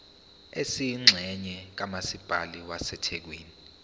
esiyingxenye kamasipala wasethekwini